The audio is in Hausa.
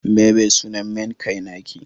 me be sunan main kai na ki?